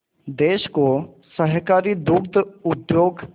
देश को सहकारी दुग्ध उद्योग